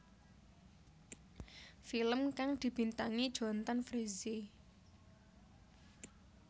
Film kang dibintangi Jonthan Frizzy